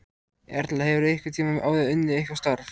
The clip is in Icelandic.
Erla: Hefurðu einhvern tímann áður unnið eitthvað starf?